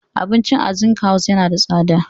Abincin a Zinc House yana da tsada.